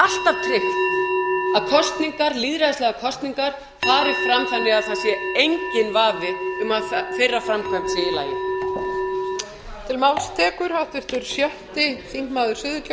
að kosningar lýðræðislegar kosningar fari fram þannig að það sé enginn vafi um að þeirra framkvæmd sé í lagi